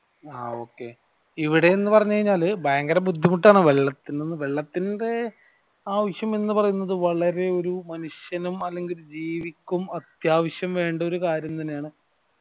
ആഹ് okay ഇവിടെ ന്നു പറഞ്ഞു കനിഞ്ഞാൽ ഭയങ്കര ബുദ്ധിമുട്ട് ആണ് വെള്ളത്തിന് വെള്ളത്തിന്റെ അവിസാം എന്ന് പറയുന്നത് വളരെ ഒരു മനുഷ്യനും ജീവിക്കും അത്യാവിശം വേണ്ട ഒരു കാര്യം തന്നെയാണ്